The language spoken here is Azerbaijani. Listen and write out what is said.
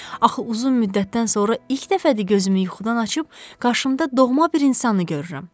Axı uzun müddətdən sonra ilk dəfədir gözümü yuxudan açıb qarşımda doğma bir insanı görürəm.